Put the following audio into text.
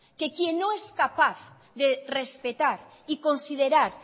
que quién no es capaz de respetar y considerar